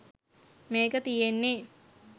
මේක තියෙන්නේ